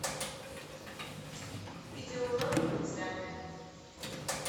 видеоуроки по вязанию